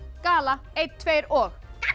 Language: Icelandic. gala einn tveir og